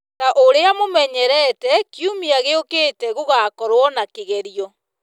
Ta ũrĩa mũmenyerete kiumia gĩũkĩte gũgakorwo na kĩgerio